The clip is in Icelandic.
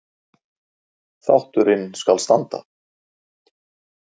Þátturinn skal standa